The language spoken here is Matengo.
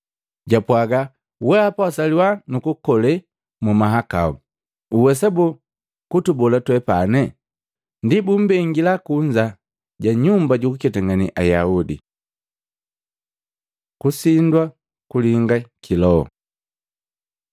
Japwaga, “Wehapa wasaliwa nukukole mumahakau, uwesa boo, kutubola twepane?” Ndi bumbengila kunza ja Nyumba jukuketangane Ayaudi. Kusindwa kulinga ki Loho